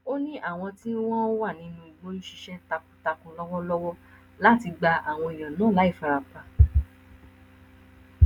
ó ní àwọn tí wọn wà nínú igbó ń ṣiṣẹ takuntakun lọwọlọwọ láti gba àwọn èèyàn náà láì farapa